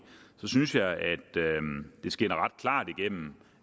så synes jeg det skinner ret klart igennem